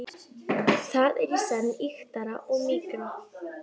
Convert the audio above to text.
Það er í senn ýktara og mýkra.